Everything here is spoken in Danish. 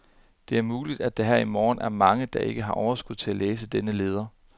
Det er muligt, at der her til morgen er mange, der ikke har overskud til at læse denne leder.